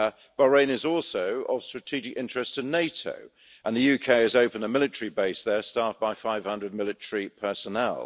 Bahrain is also of strategic interest to NATO, and the UK has opened a military base there staffed by 500 military personnel.